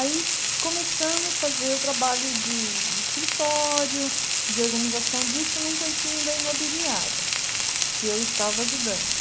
Aí começamos a fazer o trabalho de de escritório, de organização disso num cantinho da imobiliária, que eu estava ajudando.